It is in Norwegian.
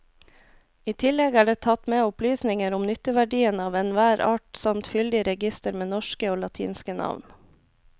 I tillegg er det tatt med opplysninger om nytteverdien av enhver art samt fyldig reigister med norske og latinske navn.